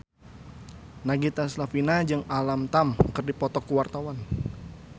Nagita Slavina jeung Alam Tam keur dipoto ku wartawan